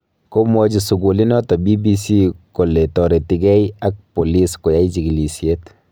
Komwachi sukulinoto BBC kole taretigei ak bolis koyai chigilisyet